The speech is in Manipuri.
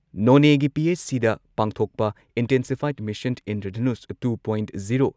ꯅꯣꯅꯦꯒꯤ ꯄꯤ.ꯑꯩꯆ.ꯁꯤꯗ ꯄꯥꯡꯊꯣꯛꯄ ꯏꯟꯇꯦꯟꯁꯤꯐꯥꯏꯗ mission Indradhanush two point zero